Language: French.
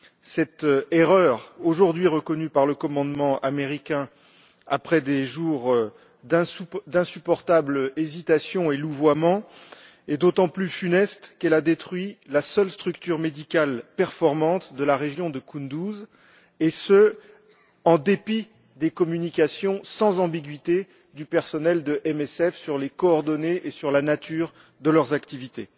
Cette erreur, aujourd'hui reconnue par le commandement américain, après des jours d'insupportables hésitations et louvoiements, est d'autant plus funeste qu'elle a détruit la seule structure médicale performante de la région de Kunduz, et ce en dépit des communications sans ambiguïté du personnel de MSF sur les coordonnées et sur la nature de leurs activités.